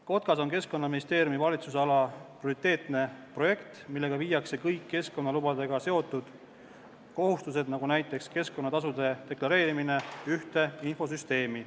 Kotkas on Keskkonnaministeeriumi valitsusala prioriteetne projekt, millega viiakse kõik keskkonnalubadega seotud kohustused, nagu näiteks keskkonnatasude deklareerimine, ühte infosüsteemi.